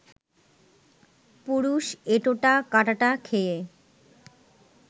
পুরুষ এঁটোটা কাঁটাটা খেয়ে